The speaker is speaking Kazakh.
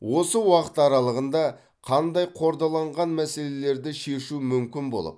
осы уақыт аралығында қандай қордаланған мәселелерді шешу мүмкін болып